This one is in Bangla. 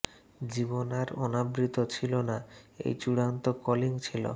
জীবন আর অনাবৃত ছিল না এই চূড়ান্ত কলিং ছিল